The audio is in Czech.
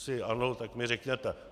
Jestli ano, tak mi řekněte.